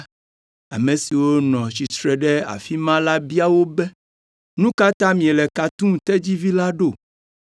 ame siwo nɔ tsitre ɖe afi ma la bia wo be, “Nu ka ta miele ka tum tedzivi la ɖo?”